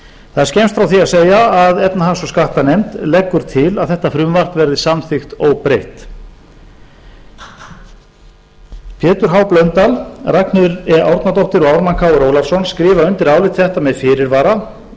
það er skemmst frá því að segja að efnahags og skattanefnd leggur til að þetta frumvarp verði samþykkt óbreytt pétur h blöndal ragnheiður e árnadóttir og ármann krónu ólafsson skrifa undir álit þetta með fyrirvara